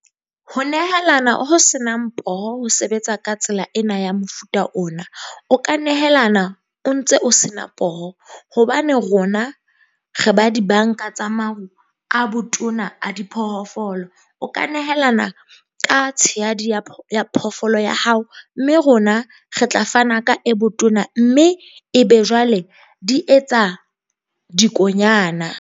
Ho nehelana ho senang poho ho sebetsa ka tsela ena ya mofuta ona, o ka nehelana o ntse o se na poho. Hobane rona re ba di-bank-a tsa a botona a diphoofolo. O ka nehelana ka tshehadi ya ya phoofolo ya hao, mme rona re tla fana ka e botona mme ebe jwale di etsa dikonyana.